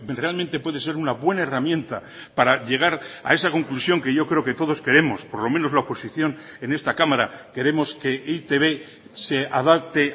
realmente puede ser una buena herramienta para llegar a esa conclusión que yo creo que todos queremos por lo menos la oposición en esta cámara queremos que e i te be se adapte